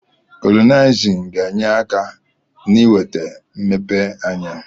Kolonailizm ga-enye aka n'iwe ata mmepe anya.